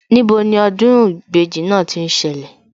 Níbo ni ọdún ìbejì náà tí ń ṣẹlẹ̀